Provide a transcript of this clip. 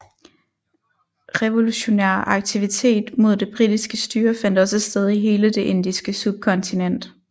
Revolutionær aktivitet mod det britiske styre fandt også sted i hele det indiske subkontinent